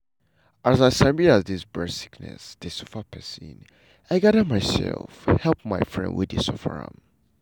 as i sabi as dis breast sickness dey suffer pesin i gada myself help my friend wey dey suffer am.